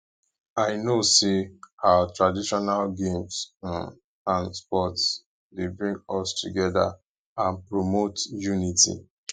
i know say our traditional games um and sports dey bring us together and promote unity